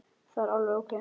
Það er alveg ókei.